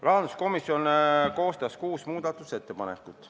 Rahanduskomisjon koostas kuus muudatusettepanekut.